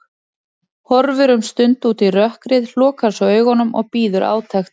Horfir um stund út í rökkrið, lokar svo augunum og bíður átekta.